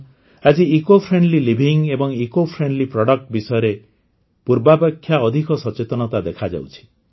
ଆଜି ଇକୋଲୋଜି ଏବଂ ecofriendly products ବିଷୟରେ ପୂର୍ବାପେକ୍ଷା ଅଧିକ ସଚେତନତା ଦେଖାଯାଉଛି